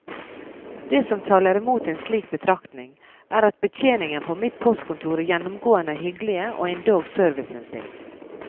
Det som taler imot en slik betraktning, er at betjeningen på mitt postkontor gjennomgående er hyggelige og endog serviceinnstilt.